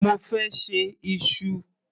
Mo fẹ́ ṣe iṣu.